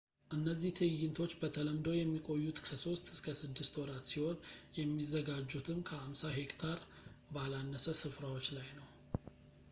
እነዚህ ትዕይንቶች በተለምዶ የሚቆዩት ከሶስት እስከ ስድስት ወራት ሲሆን የሚዘጋጁትም ከ50 ሄክታር ባላነሰ ስፍራዎች ላይ ነው